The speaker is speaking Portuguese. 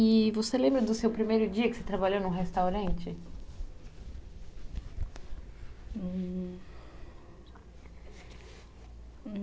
E você lembra do seu primeiro dia que você trabalhou num restaurante?